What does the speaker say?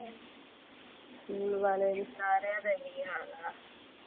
School ਆਲੇ ਸਾਰਿਆਂ ਦਾ ਇਹੋ ਹਾਲ ਆ।